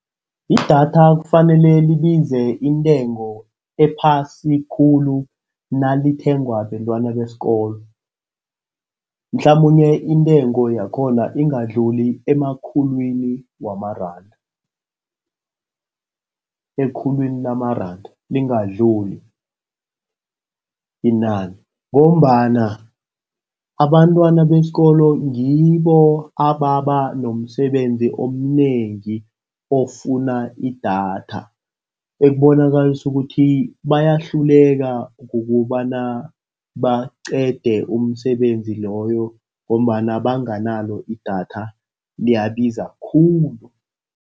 Idatha kufanele libize intengo ephasi khulu nalithengwa bentwana besikolo. Mhlamunye intengo yakhona ingadluli emakhulwini wamaranda. Ekhulwini lamaranda lingadluli inani ngombana abantwana besikolo ngibo ababa nomsebenzi omnengi ofuna idatha. Ekubonakalisa ukuthi bayahluleka kukobana baqede umsebenzi loyo ngombana banganalo idatha liyabiza khulu.